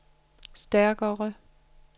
stærkere